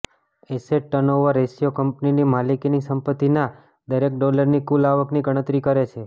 asset turnover ratio કંપનીની માલિકીની સંપત્તિના દરેક ડોલરની કુલ આવકની ગણતરી કરે છે